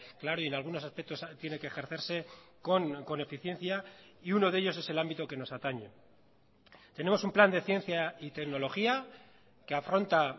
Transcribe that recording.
claro y en algunos aspectos tiene que ejercerse con eficiencia y uno de ellos es el ámbito que nos atañe tenemos un plan de ciencia y tecnología que afronta